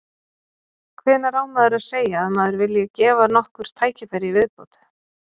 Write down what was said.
Hvenær á maður að segja að maður vilji gefa nokkur tækifæri í viðbót?